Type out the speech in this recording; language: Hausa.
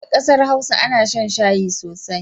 A ƙasar Hausa ana shan shayi sosai.